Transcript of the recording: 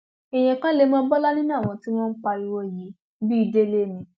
èèyàn kan lè mọ bọlá nínú àwọn tí wọn ń pariwo yìí bíi délé ni